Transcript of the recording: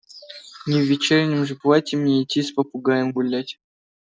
не в вечернем же платье мне идти с попугаем гулять